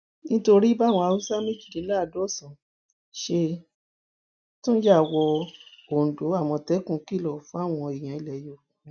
nítorí báwọn haúsá méjìdínláàádọsànán ṣe tún yá wọn ondo àmọtẹkùn kìlọ fáwọn èèyàn ilẹ yorùbá